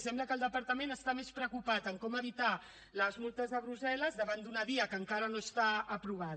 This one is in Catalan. i sembla que el departament està més preocupat en com evitar les multes de brussel·les davant d’una via que encara no està aprovada